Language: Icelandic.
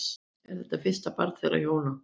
Er þetta fyrsta barn þeirra hjóna